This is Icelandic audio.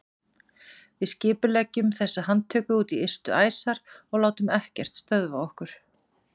Við skipuleggjum þessa handtöku út í ystu æsar og látum ekkert stöðva okkur!